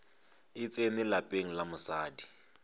e tsene lapeng la mosadi